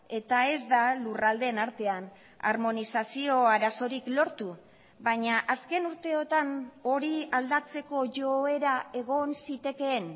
eta ez da lurraldeen artean harmonizazio arazorik lortu baina azken urteotan hori aldatzeko joera egon zitekeen